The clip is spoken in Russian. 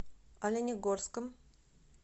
оленегорском